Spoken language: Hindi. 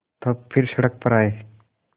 तब फिर सड़क पर आये